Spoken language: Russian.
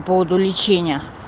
поводу лечение